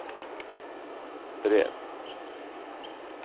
brev